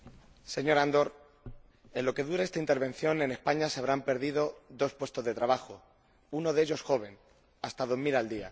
Señor Andor, en lo que dura esta intervención, en España se habrán perdido dos puestos de trabajo, uno de ellos joven, hasta dos mil al día.